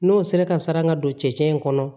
N'o sera ka sara ka don cɛncɛn in kɔnɔ